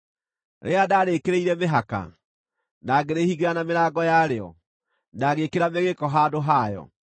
rĩrĩa ndarĩkĩrĩire mĩhaka, na ngĩrĩhingĩra na mĩrango yarĩo, na ngĩĩkĩra mĩgĩĩko handũ hayo,